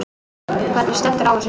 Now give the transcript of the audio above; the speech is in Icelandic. Hvernig stendur á þessu?.